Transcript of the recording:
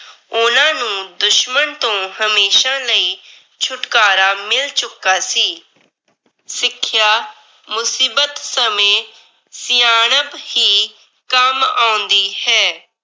ਉਹਨਾਂ ਨੂੰ ਦੁਸ਼ਮਨ ਤੋਂ ਹਮੇਸ਼ਾ ਲਈ ਛੁਟਕਾਰਾ ਮਿਲ ਚੁੱਕਾ ਸੀ। ਸਿੱਖਿਆ ਮੁਸੀਬਤ ਸਮੇਂ ਸਿਆਣਪ ਹੀ ਕੰਮ ਆਉਂਦੀ ਹੈ।